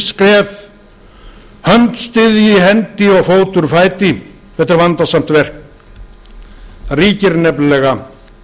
skref hönd styðji hendi og fótur fæti þetta er vandasamt verk það ríkir nefnilega